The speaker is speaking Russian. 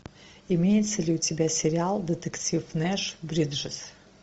имеется ли у тебя сериал детектив нэш бриджес